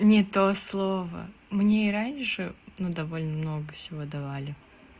не то слово мне и раньше но довольно много всего давали